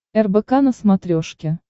рбк на смотрешке